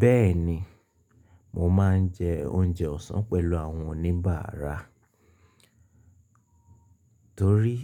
Bẹ́ẹ̀ni, mo máa ń jẹ oúnjẹ ọ̀sán pẹ̀lú àwọn oníbàárà torí